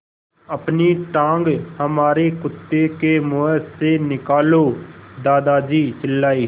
अपनी टाँग हमारे कुत्ते के मुँह से निकालो दादाजी चिल्लाए